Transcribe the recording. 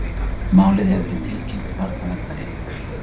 Málið hefur verið tilkynnt til barnaverndaryfirvalda